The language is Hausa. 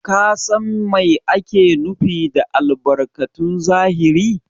Ka San Mai ake nufi da albarkatun zahiri?